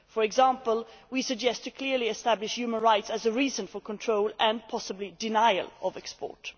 For example, we suggest clearly establishing human rights as a reason for control and possibly denial of export.